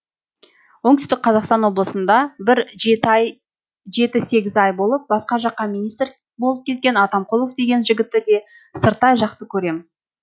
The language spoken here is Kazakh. оңтүстік қазақстан облысында бір жеті сегіз ай болып басқа жаққа министр болып кеткен атамқұлов деген жігітті де сырттай жақсы көрем